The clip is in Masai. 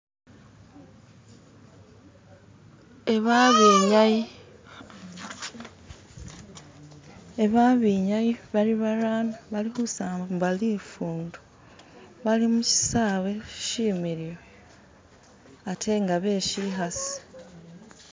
Eba abenyayi eba abenyayi bali barano alikhusamba lifundo bali mushisawe shimiliu atenga beshikhasi